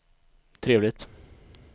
trevligt